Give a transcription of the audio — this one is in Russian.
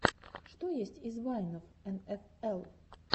что есть из вайнов эн эф эл